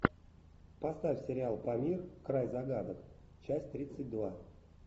поставь сериал памир край загадок часть тридцать два